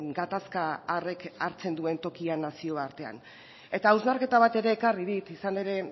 gatazka harrek hartzen duen tokia nazioartean eta hausnarketa bat ere ekarri dit izan ere